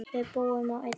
Við búum á einni jörð.